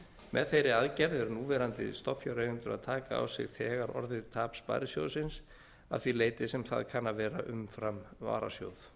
með þeirri aðgerð eru núverandi stofnfjáreigendur að taka á sig tap sparisjóðsins að því leyti sem það kann að vera umfram varasjóð